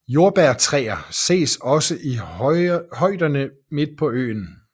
Jordbærtræer ses også i højderne midt på øen